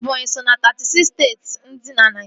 Ebọnyi so ná teetị siks steeti dị na Naijiria